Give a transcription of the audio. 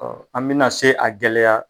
Ɔ an mina se a gɛlɛya